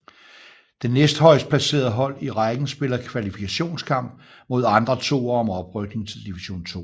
Det næstehøjest placerede hold i rækken spiller kvalifikationskamp mod andre toere om oprykning til Division 2